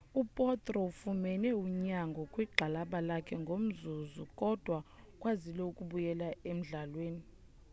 u potro ufumene unyango kwigxalaba lakhe ngalomzuzu kodwa ukwazile ukubuyela emdlalweni